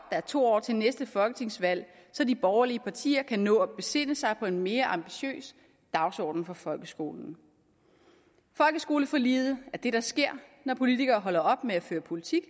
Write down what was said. er to år til næste folketingsvalg så de borgerlige partier kan nå at besinde sig på en mere ambitiøs dagsorden for folkeskolen folkeskoleforliget er det der sker når politikere holder op med at føre politik